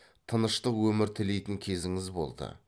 тыныштық өмір тілейтін кезіңіз болды